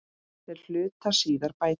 Þeir hlutu síðar bætur.